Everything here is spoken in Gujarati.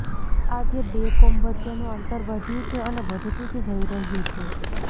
આજે બે કોમ વચ્ચેનું અંતર વધ્યું છે અને વધતું જ જઈ રહ્યું છે